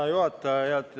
Hea juhataja!